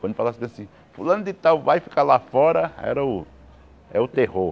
Quando falasse assim, fulano de tal vai ficar lá fora, era o é o terror.